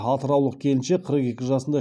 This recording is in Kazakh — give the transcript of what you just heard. атыраулық келіншек қырық екі жасында